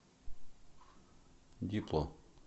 дипло